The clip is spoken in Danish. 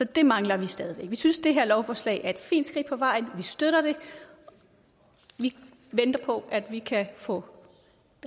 det mangler vi stadig væk vi synes det her lovforslag er et fint skridt på vejen vi støtter det vi venter på at vi kan få